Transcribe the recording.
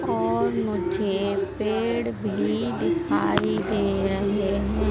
और मुझे पेड़ भी दिखाई दे रहे है।